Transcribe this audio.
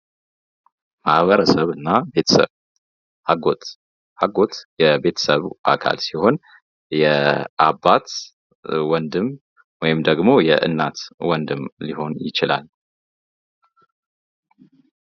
ማህበረሰብና ቤተሰብ አጎት አጎት የቤተሰቡ አካል ሲሆን የአባት ወንድም ወይም ደግሞ የእኔት ወንድም ሊሆን ይችላል።